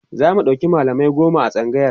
zamu ɗauki mallamai goma a tsangayar